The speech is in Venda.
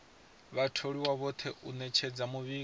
vhatholiwa vhoṱhe u ṅetshedza muvhigo